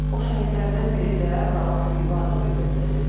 O şəhidlərdən biri də Rauf İbadov idi, əziz dostlar.